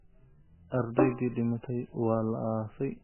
Ardaydii dhimatay waa la aasay